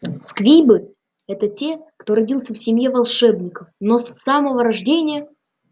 сквибы это те кто родился в семье волшебников но с самого рождения